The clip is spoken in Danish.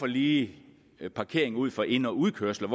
lige parkering ud for ind og udkørsler